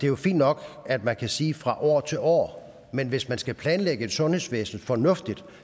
jo fint nok at man kan sige fra år til år men hvis man skal planlægge et sundhedsvæsen fornuftigt